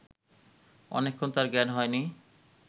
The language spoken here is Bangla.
অনেকক্ষণ তাঁর জ্ঞান হয় নি